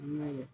N'a ye